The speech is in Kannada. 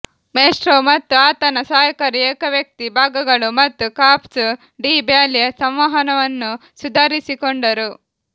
ಮೆಸ್ಟ್ರೋ ಮತ್ತು ಆತನ ಸಹಾಯಕರು ಏಕವ್ಯಕ್ತಿ ಭಾಗಗಳು ಮತ್ತು ಕಾರ್ಪ್ಸ್ ಡಿ ಬ್ಯಾಲೆ ಸಂವಹನವನ್ನು ಸುಧಾರಿಸಿಕೊಂಡರು